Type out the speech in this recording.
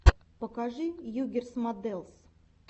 покажи югирс модэлс